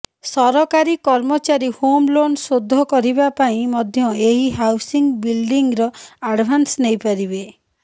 ସରକାରୀ କର୍ମଚାରୀ home loan ଶୋଧ କରିବା ପାଇଁ ମଧ୍ୟ ଏହି ହାଉସିଙ୍ଗ ବିଲଡିଙ୍ଗର ଆଡଭାନ୍ସ ନେଇ ପାରିବେ